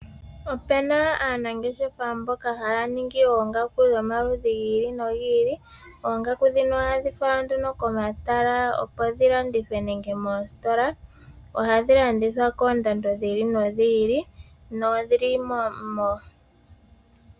Opena aanangeshefa mboka ha ya ningi oongaku dhomaludhi gi ili nogi ili. Oongaku ndhino oha dhi falwa nduno komatala nenge moositola. Oha dhi landithwa kokndando dhi ili no dhi ili.